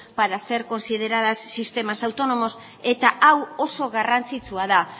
para ser consideradas sistemas autónomos eta hau oso garrantzitsua da